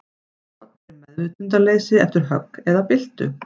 Rot er meðvitundarleysi eftir högg eða byltu.